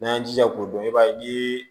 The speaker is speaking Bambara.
N'an y'an jija k'o dɔn i b'a ye ni